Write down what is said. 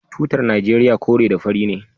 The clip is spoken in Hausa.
Tutar nigeria kore da fari ne